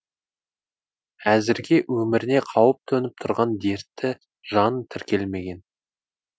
әзірге өміріне қауіп төніп тұрған дертті жан тіркелмеген